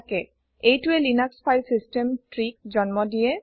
এইটোৱে Linux file system Treeক জন্ম দিয়ে